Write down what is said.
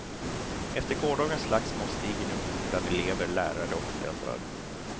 Efter gårdagens slagsmål stiger nu oron bland elever, lärare och föräldrar.